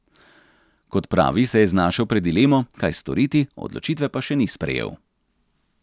Kot pravi, se je znašel pred dilemo, kaj storiti, odločitve pa še ni sprejel.